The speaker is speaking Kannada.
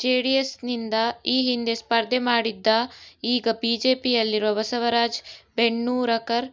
ಜೆಡಿಎಸ್ನಿಂದ ಈ ಹಿಂದೆ ಸ್ಪರ್ಧೆ ಮಾಡಿದ್ದ ಈಗ ಬಿಜೆಪಿಯಲ್ಲಿರುವ ಬಸವರಾಜ ಬೆಣ್ಣೂರಕರ್